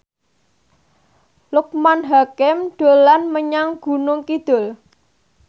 Loekman Hakim dolan menyang Gunung Kidul